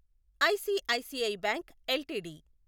ICICI bank LTD